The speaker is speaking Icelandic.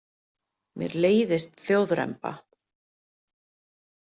Mér leiðist þjóðremba.